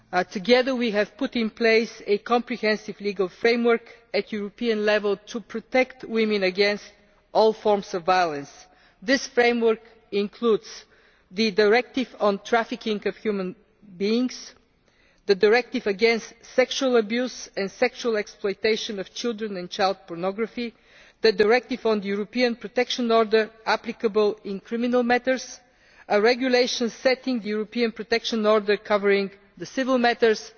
Together we have put in place a comprehensive legal framework at European level to protect women against all forms of violence. This framework includes the directive on trafficking in human beings, the directive against sexual abuse and sexual exploitation of children and child pornography, the directive on the European Protection Order applicable in criminal matters, a regulation setting the European Protection Order covering civil matters,